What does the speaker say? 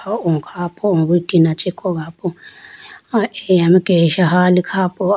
O khapo o tina chee kogapo ah eya mai kesa hali kha po.